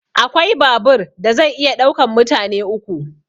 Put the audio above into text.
Akwai babur da zai iya ɗaukan mutane uku